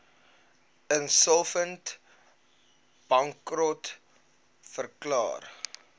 insolvent bankrot verklaar